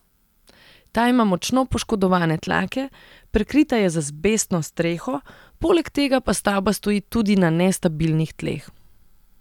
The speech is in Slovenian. Ta ima močno poškodovane tlake, prekrita je z azbestno streho, poleg tega pa stavba stoji tudi na nestabilnih tleh.